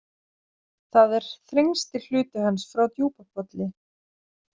Það er þrengsti hluti hans frá Djúpapolli.